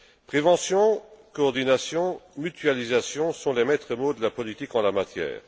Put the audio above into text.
Prévention, coordination, mutualisation sont les maîtres mots de la politique en la matière.